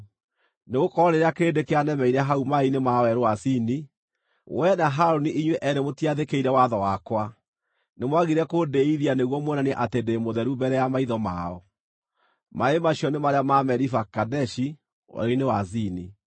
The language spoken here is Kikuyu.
nĩgũkorwo rĩrĩa kĩrĩndĩ kĩanemeire hau maaĩ-inĩ ma Werũ wa Zini, wee na Harũni inyuĩ eerĩ mũtiathĩkĩire watho wakwa, nĩmwagire kũndĩĩithia nĩguo muonanie atĩ ndĩ mũtheru mbere ya maitho mao.” (Maaĩ macio nĩ marĩa ma Meriba Kadeshi, Werũ-inĩ wa Zini.)